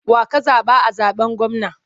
Wa ka zaɓa a zaɓen gwamna?